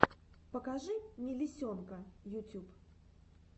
покажи мелисенка ютюб